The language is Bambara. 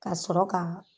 Ka sɔrɔ ka